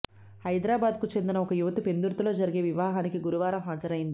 హైదరాబాద్కు చెందిన ఒక యువతి పెందుర్తిలో జరిగే వివాహానికి గురువారం హాజరైంది